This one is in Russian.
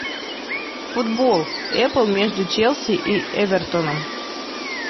футбол эпл между челси и эвертоном